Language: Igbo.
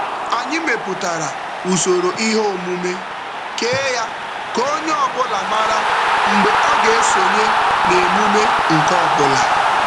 Anyị mepụtara usoro ihe omume kee ya ka onye ọbụla mara mgbe ọ ga-esonye na emume nke ọbụla.